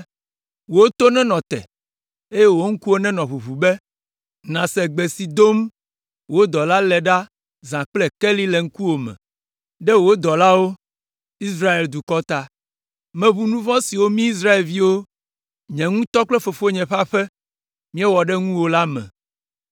Wò to nenɔ te, eye wò ŋkuwo nenɔ ʋuʋu be nàse gbe si dom wò dɔla le ɖa zã kple keli le ŋkuwòme, ɖe wò dɔlawo, Israel dukɔ ta. Meʋu nu vɔ̃ siwo mí Israelviwo, nye ŋutɔ kple fofonye ƒe aƒe míewɔ ɖe ŋuwò la me.